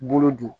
Bolo don